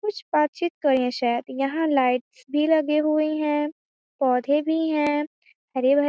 कुछ बातचित कए रहे शायद यहाँ लाइट्स भी लगे हुए हैं पौधे भी हैं हरे-भरे--